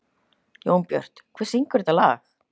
Jónbjört, hver syngur þetta lag?